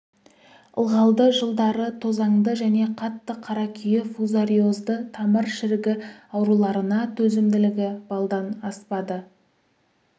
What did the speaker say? ылғалды жылдары тозаңды және қатты қаракүйе фузариозды тамыр шірігі ауруларына төзімділігі баллдан аспады